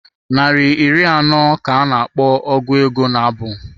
Naịra iri anọ ka a na-akpọ ọgu ego nabụ.